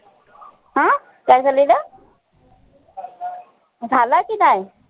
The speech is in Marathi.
अं काय झालेलं? झालं की नाई?